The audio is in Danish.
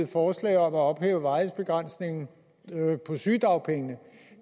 forslag om at ophæve varighedsbegrænsningen på sygedagpenge